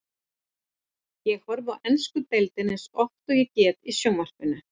Ég horfi á ensku deildina eins oft og ég get í sjónvarpinu.